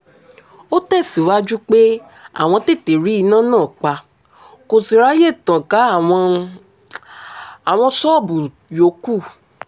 ó tẹ̀síwájú pé àwọn tètè rí iná náà pa kó sì ráàyè tàn ká àwọn àwọn ṣọ́ọ̀bù yòókù